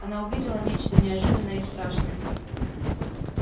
она увидела нечто неожиданное и страшное